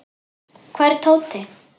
Hvar er Tóti?